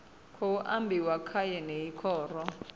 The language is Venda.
khou ambiwa kha yeneyi khoro